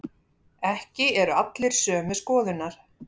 Ekki eru allir sömu skoðunar